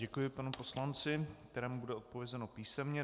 Děkuji panu poslanci, kterému bude odpovězeno písemně.